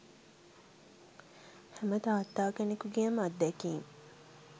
හැම තාත්තා කෙනෙකුගේම අත්දැකීම්